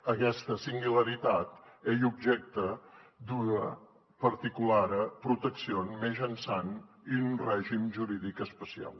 aguesta singularitat ei objècte d’ua particulara proteccion mejançant un regim juridic especiau